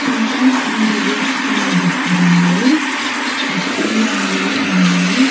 ఇంకా వీరు వేసుకున్న దుస్తు రంగులు పచ్చని రంగులో ఉన్నాయి.